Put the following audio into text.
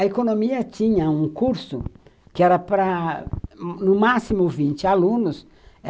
A economia tinha um curso que era para, no máximo, vinte alunos.